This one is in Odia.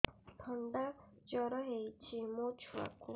ଥଣ୍ଡା ଜର ହେଇଚି ମୋ ଛୁଆକୁ